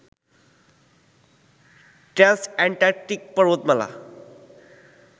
Trans-Antarctic পর্বতমালা